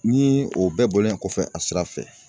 Ni o bɛɛ bɔlen kɔfɛ a sira fɛ